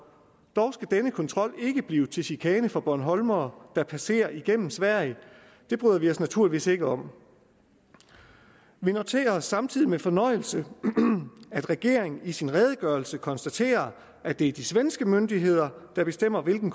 dog skal denne kontrol ikke blive til chikane for bornholmere der passerer igennem sverige det bryder vi os naturligvis ikke om vi noterer os samtidig med fornøjelse at regeringen i sin redegørelse konstaterer at det er de svenske myndigheder der bestemmer hvilken